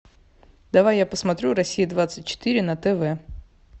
давай я посмотрю россия двадцать четыре на тв